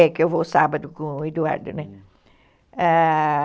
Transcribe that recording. É que eu vou sábado com o Eduardo, né? Hum, ãh...